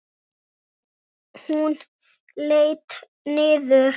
Hún leit niður.